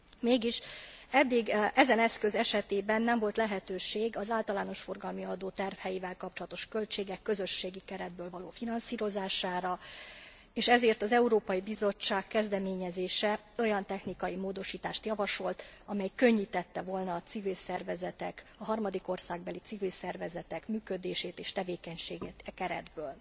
Mégis eddig ezen eszköz esetében nem volt lehetőség az általános forgalmi adó terheivel kapcsolatos költségek közösségi keretből való finanszírozására, és ezért az Európai Bizottság kezdeményezése olyan technikai módosítást javasolt, ami könnyítette volna a civil szervezetek, a harmadik országbeli civil szervezetek működését és tevékenységét e keretből.